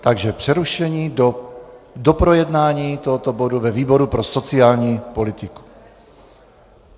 Takže přerušení do doprojednání tohoto bodu ve výboru pro sociální politiku.